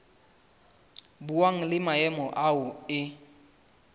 buang le maemo ao e